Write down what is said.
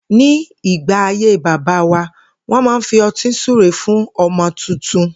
Ní ìgbà ayé bàbá wa, wó̩n máa ń fi o̩tí súre fún o̩mo̩ tuntun